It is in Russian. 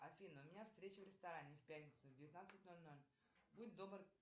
афина у меня встреча в ресторане в пятницу в девятнадцать ноль ноль будь добр